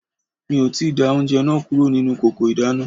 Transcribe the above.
Mi ò tíì da oúnjẹ náà kúrò nínú kòkò ìdáná